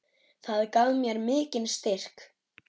Það gaf mér mikinn styrk.